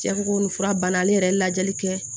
Cɛ ko ko nin fura banna ale yɛrɛ ye lajɛli kɛ